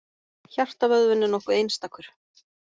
Hjartavöðvinn er nokkuð einstakur.